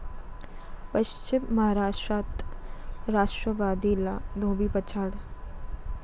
पश्चिम महाराष्ट्रात राष्ट्रवादीला धोबीपछाड